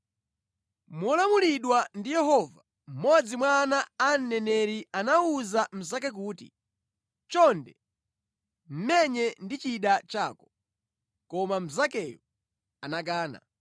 Molamulidwa ndi Yehova, mmodzi mwa ana a aneneri anawuza mnzake kuti, “Chonde, menye ndi chida chako,” koma mnzakeyo anakana.